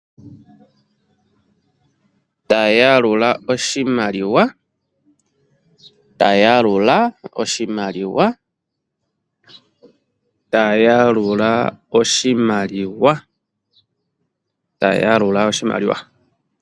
Ta yalula oshimaliwa! Ta yalula oshimaliwa! Ta yalula oshimaliwa! Ta yalula oshimaliwa!